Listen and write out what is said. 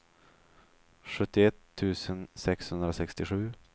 sjuttioett tusen sexhundrasextiosju